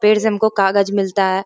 पेड़ से हमको कागज मिलता है।